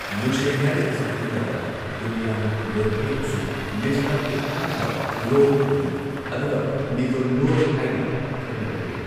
ꯂꯨꯁꯏ ꯍꯥꯏꯔꯒꯁꯨ ꯈꯪꯅꯕ ꯗꯨꯍꯂꯤꯌꯥꯟ ꯂꯣꯟꯊꯩ ꯑꯁꯤ ꯃꯤꯖꯣꯔꯥꯝꯒꯤ ꯑꯍꯥꯟꯕ ꯂꯣꯟ ꯑꯣꯏꯔꯝꯃꯤ ꯑꯗꯨꯒ ꯃꯤꯖꯣ ꯂꯣꯜ ꯍꯥꯏꯅ ꯈꯪꯅꯔꯛꯂꯦ꯫